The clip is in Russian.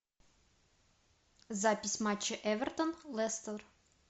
запись матча эвертон лестер